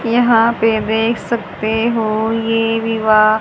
यहां पे देख सकते हो ये विवाह--